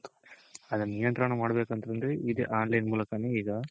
ಅದನ್ ನಿಯಂತ್ರಣ ಮಾಡ್ಬೇಕಂತಂದ್ರೆ ಇದೇ online ಮೂಲಕನೇ ಈಗ